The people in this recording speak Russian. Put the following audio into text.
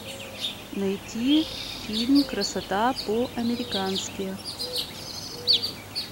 найти фильм красота по американски